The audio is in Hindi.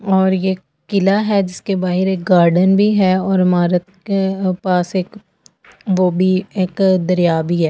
और ये किला है जिसके बाहिर एक गार्डन भी है और इमारत के पास एक वो भी एक दरिया भी है।